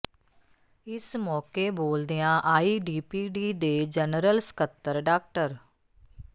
ਇਸ ਮੌਕੇ ਬੋਲਦਿਆਂ ਆਈ ਡੀ ਪੀ ਡੀ ਦੇ ਜਨਰਲ ਸਕੱਤਰ ਡਾ